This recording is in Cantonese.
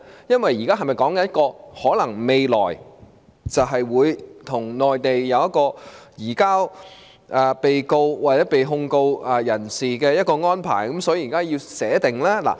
是否意味着未來我們會與內地簽訂一些移交被告或被定罪人士的安排，所以現在要預先草擬呢？